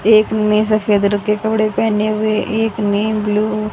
एक ने सफेद रंग के कपड़े पहने हुए एक ने ब्ल्यू --